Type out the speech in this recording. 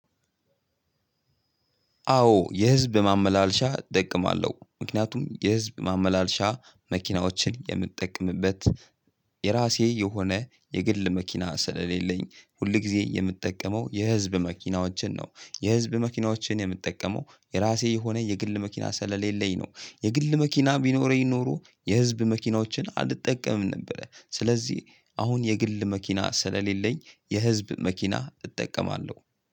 አዎ የህዝብ ማመላለሻ እጠማለሁ። ምክንያቱም የህዝብ ማመላለሻ መኪናዎችን የምጠቀምበት የራሴ የሆነ የግል መኪና ስለሌለኝ ሁል ጊዜ የምጠቀመው የህዝብ መኪናዎችን ነው። የህዝብ መኪናዎችን የምጠቀመው የራሴ የሆነ የግል መኪና ስለሌለኝ ነው። የግል መኪና ቢኖረኝ ኖሮ የህዝብ መኪናዎችን አልጠቀምም ነበረ። ስለዚህ አሁን የግል መኪና ስለሌለኝ የህዝብ መኪና እጠቀማለሁ።